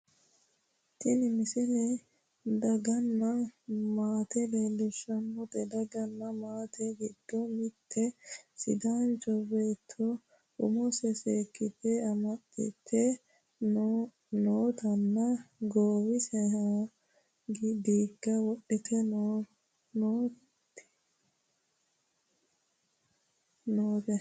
tini misile daganna maate leellishshannote daganna maatete giddono mitte sidaancho betto umose seekite amaxxite nootanna goowahono diigga wodhite nooteiimaannino noote